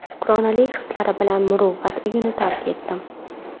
Shukronalik hislari bilan Muruvvat uyini tark etdim.